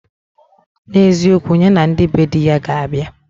N'eziokwu, ya na ndị be di ya ga abịa